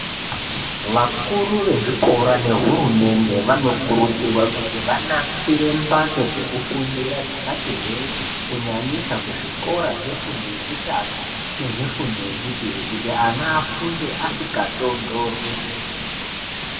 Vakuru vezvikora nehurumende vanokurudzirwa kuti vanasire mbatso dzekufundira dzakati hwee. Kunyanyisa kuzvikora zvefundo yekutanga nezvefundo yechipiri kuti ana afunde asikatondorwi.